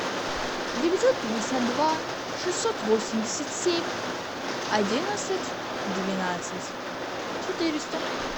девятьсот пятьдесят два шестьсот восемьдесят семь одиннадцать двенадцать четыреста